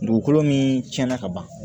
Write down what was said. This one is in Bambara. Dugukolo min tiɲɛna ka ban